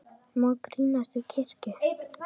Má grínast í kirkju?